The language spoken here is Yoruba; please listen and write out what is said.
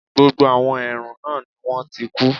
Gbogbo àwọn èèrùn náà ni wọ́n ti kú